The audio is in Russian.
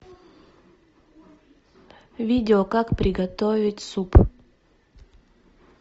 видео как приготовить суп